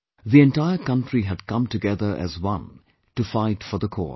The entire country had come together as one to fight for the cause